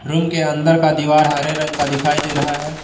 Room के अंदर का दीवार हरे रंग का दिखाई दे रहा है।